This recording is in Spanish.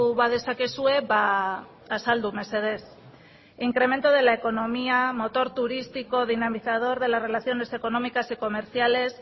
badezakezue azaldu mesedez incremento de la economía motor turístico dinamizador de las relaciones económicas y comerciales